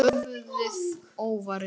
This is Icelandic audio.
Höfuðið óvarið.